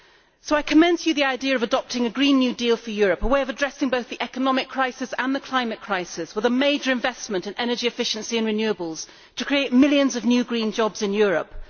So I commend to you the idea of adopting a green new deal for Europe, a way of addressing both the economic crisis and the climate crisis, with a major investment in energy efficiency and renewables, to create millions of new green jobs in Europe.